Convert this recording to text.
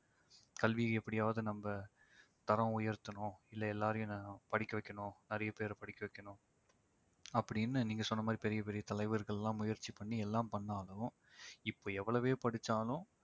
கல்வி எப்படியாவது நம்ம தரம் உயர்த்தணும் இல்ல எல்லாரையும் படிக்க வைக்கணும் நிறைய பேர படிக்க வைக்கணும் அப்படின்னு நீங்க சொன்ன மாதிரி பெரிய பெரிய தலைவர்கள்லாம் முயற்சி பண்ணி எல்லாம் பண்ணாலும் இப்ப எவ்வளவே படிச்சாலும்